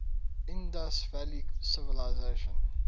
indus valley civilisation